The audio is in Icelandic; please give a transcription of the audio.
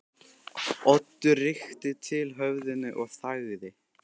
Oddur rykkti til höfðinu og þagði.